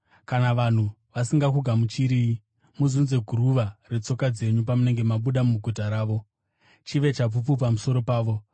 Kana vanhu vasingakugamuchiriyi, muzunze guruva retsoka dzenyu pamunenge mabuda muguta ravo, chive chapupu pamusoro pavo.”